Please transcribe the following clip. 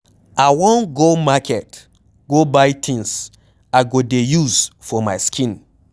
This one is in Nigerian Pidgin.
I wan go market go buy things I go dey use for my skin